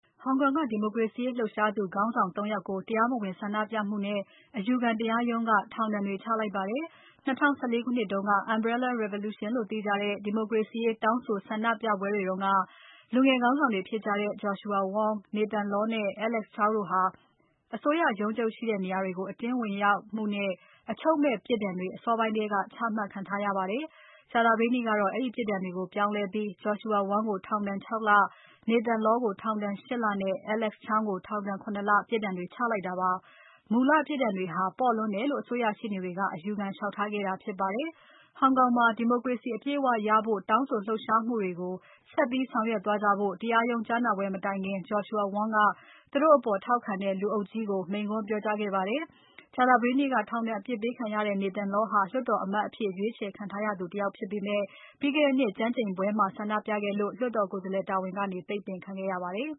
ဟောင်ကောင်က ဒီမိုကရေစီရေးလှုပ်ရှားသူခေါင်းဆောင် ၃ ယောက်ကို တရားမဝင်ဆန္ဒပြမှုနဲ့ အယူခံတရားရုံးက ထောင်ဒဏ်ချတွေချလိုက်ပါတယ်။ ၂၀၁၄ ခုနှစ်တုန်းက Umbrella Revolution လို့သိကြတဲ့ ဒီမိုကရေစီရေးတောင်းဆိုဆန္ဒပြပွဲတွေတုန်းက လူငယ်ခေါင်းဆောင်တွေဖြစ်ကြတဲ့ Joshua Wong, Nathan Law နဲ့ Alex Chow တို့ဟာ အစိုးရရုံးချုပ်တွေရှိတဲ့နေရာကို အတင်းဝင်ရောက်မှုအတွက် အချုပ်မဲ့ ပြစ်ဒဏ်တွေ အစောပိုင်းထဲက ချမှတ်ခံထားရပါတယ်။ ကြာသပတေးနေ့ကတော့ အဲဒီပြစ်ဒဏ်တွေကို ပြောင်းလဲပြီး Joshua Wong ကို ထောင်ဒဏ် ၆ လ၊ Nathan Law ကို ထောင်ဒဏ် ၈ လနဲ့ Alex Chow ကိုထောင်ဒဏ် ၇ လပြစ်ဒဏ်တွေချလိုက်တာဖြစ်ပါတယ်။ မူလပြစ်ဒဏ်တွေဟာ ပေါ့လွန်းတယ်လို့ အစိုးရရှေ့နေတွေက အယူခံလျှောက်ထားခဲ့တာဖြစ်ပါတယ်။ဟောင်ကောင်မှာ ဒီမိုကရေစီအပြည့်အဝရဖို့ တောင်းဆိုလှုပ်ရှားမှုတွေကို ဆက်ပြီးဆောင်ရွက်သွားကြဖို့ တရားရုံး ကြားနာပွဲမတိုင်ခင် Joshua Wong ကသူတို့အပေါ် ထောက်ခံတဲ့လူအုပ်ကြီးကို မိန့်ခွန်းပြောကြားခဲ့ပါတယ်။ ကြာသပတေးနေ့က ထောင်ဒဏ်အပြစ်ပေးခံရတဲ့ Nathan Law ဟာ လွှတ်တော်အမတ်အဖြစ် ရွေးချယ်ခံထားရသူဖြစ်ပါတယ်။ ဒါပေမဲ့ ပြီးခဲ့တဲ့နှစ်တုန်းက ကျမ်းကျိန်ပွဲမှာ ဆန္ဒပြခဲ့လို့ လွှတ်တော်ကိုယ်စားလှယ်တာဝန်က ပိတ်ပင်ခံခဲ့ရပါတယ်။